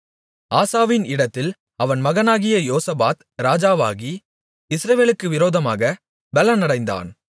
ஆசாவின் இடத்தில் அவன் மகனாகிய யோசபாத் ராஜாவாகி இஸ்ரவேலுக்கு விரோதமாக பெலனடைந்தான்